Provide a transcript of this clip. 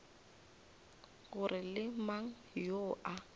gore ke mang yoo a